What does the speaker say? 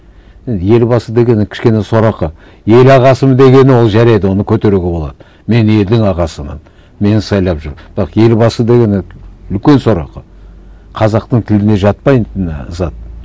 і елбасы дегені кішкене сорақы ел ағасымын дегені ол жарайды оны көтеруге болады мен елдің ағасымын мені сайлап жүр бірақ елбасы дегені үлкен сорақы қазақтың тіліне жатпайтын ы зат